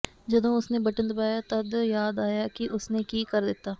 ਜਦੋਂ ਉਸਨੇ ਬਟਨ ਦਬਾਇਆ ਤੱਦ ਯਾਦ ਆਇਆ ਕਿ ਉਸਨੇ ਕੀ ਕਰ ਦਿੱਤਾ